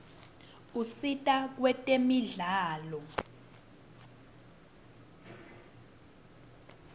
usita kwetemidlalo